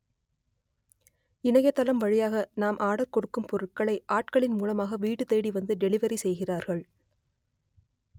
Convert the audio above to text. இணையதளம் வழியாக நாம் ஆர்டர் கொடுக்கும் பொருட்களை ஆட்களின் மூலமாக வீடு தேடிவந்து டெலிவரி செய்கிறார்கள்